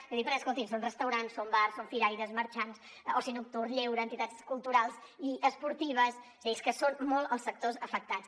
i ho dic perquè escoltin són restaurants són bars són firaires marxants oci nocturn lleure entitats culturals i esportives és a dir que són molts els sectors afectats